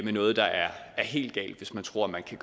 er noget der er helt galt hvis man tror at man kan